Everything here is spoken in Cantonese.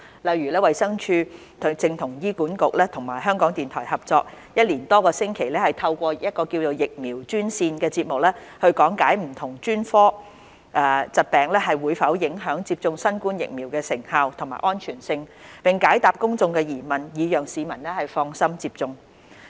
例如，衞生署正與醫院管理局和香港電台合作，一連多個星期透過"疫苗專線"節目講解不同專科疾病會否影響接種新冠疫苗的成效和安全性，並且解答公眾的疑問，以讓市民放心接種。